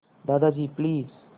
Dadaji please